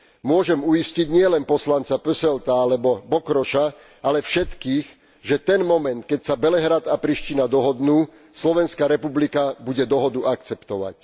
Môžem uistiť nielen poslanca Posselta alebo Bokrosa, ale všetkých, že ten moment, keď sa Belehrad a Priština dohodnú, Slovenská republika bude dohodu akceptovať.